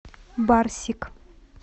барсик